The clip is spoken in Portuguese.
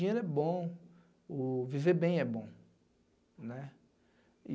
Dinheiro é bom, o viver bem é bom, né.